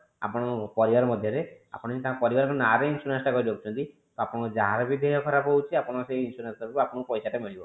ଆପଣଙ୍କ ପରିବାର ମଧ୍ୟରେ ଆପଣ ଯେମିତି ଟଙ୍କା ପରିବାର ନା ରେ insurance କରି ଦୋଉଛନ୍ତି ଆପଣଙ୍କ ଯାହାର ବି ଦେହ ଖରାବ ହୋଉଛି ଆପଣ ସେଇ insurance ତରଫ ରୁ ଆପଣଙ୍କୁ ସେଇ ପଇସା ଟା ମିଳିବ